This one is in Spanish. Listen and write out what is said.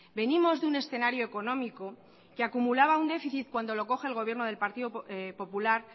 venimos de un escenario económico que acumulaba un déficit cuando lo coge el gobierno del partido popular